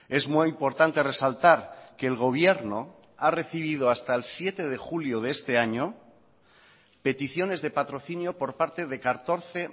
es muy importante resaltar que el gobierno ha recibido hasta el siete de julio de este año peticiones de patrocinio por parte de catorce